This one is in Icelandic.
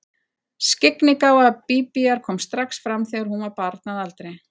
Skyggnigáfa Bíbíar kom strax fram þegar hún var barn að aldri.